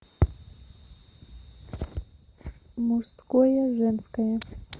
мужское женское